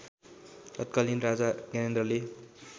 तत्कालीन राजा ज्ञानेन्द्रले